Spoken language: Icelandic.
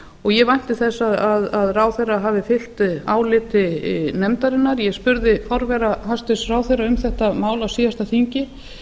og ég vænti þess að ráðherra hafi fylgt áliti nefndarinnar ég spurði forvera hæstvirtur ráðherra um þetta mál á síðasta þingi